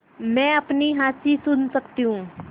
मैं अपनी हँसी सुन सकती हूँ